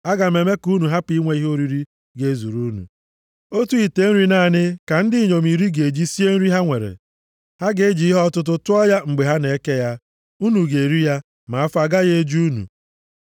Aga m eme ka unu hapụ inwe ihe oriri ga-ezuru unu. Otu ite nri naanị ka ndị inyom iri ga-eji sie nri ha nwere. Ha ga-eji ihe ọtụtụ tụọ ya mgbe ha na-eke ya. Unu ga-eri ya, ma afọ agaghị eju unu.